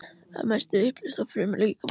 Það er að mestu uppleyst í frumum líkamans.